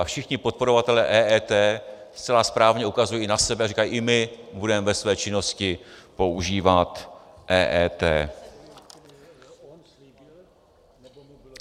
A všichni podporovatelé EET zcela správně ukazují na sebe a říkají: I my budeme ve své činnosti používat EET.